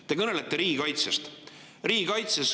Te kõnelete riigikaitsest.